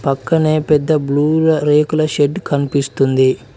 పక్కనే పెద్ద బ్లూ రేకుల షెడ్ కనిపిస్తుంది.